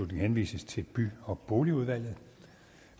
henvises til by og boligudvalget